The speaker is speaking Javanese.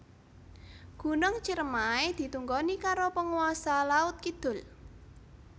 Gunung Ciremai ditunggoni karo penguasa laut kidul